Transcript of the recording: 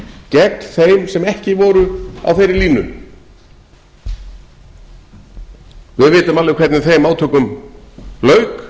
gegn þeim sem ekki voru á þeirri línu við vitum alveg hvernig þeim átökum lauk